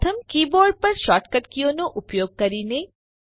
પ્રથમ કીબોર્ડ પર શોર્ટકટ કીઓનો ઉપયોગ કરીને